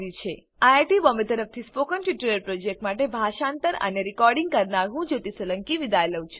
IIT Bombay તરફથી spoken tutorial project માટે ભાષાંતર કરનાર હું જ્યોતી સોલંકી વિદાય લઉં છું